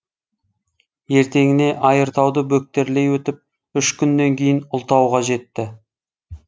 ертеңіне айыртауды бөктерлей өтіп үш күннен кейін ұлытауға жетті